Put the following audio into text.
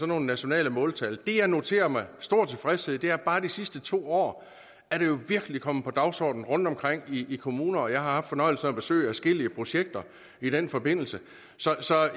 nogle nationale måltal det jeg noterer med stor tilfredshed er at bare de sidste to år er det jo virkelig kommet på dagsordenen rundtomkring i kommunerne og jeg har haft fornøjelsen af at besøge adskillige projekter i den forbindelse så